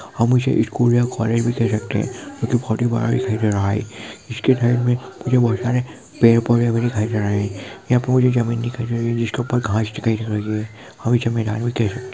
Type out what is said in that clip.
हम इसे स्कूल या कौलेज ही कह सकते है ये एक बहुत ही बड़ा दिखाई दे रहा है इसके साइड मे मुझे बहुत सारे पेड़ पौधे भी दिखाई दे रहे है यह पूरी जमीन दिखाई दे रही है जिसके ऊपर घाँस दिखाई दे रही है ।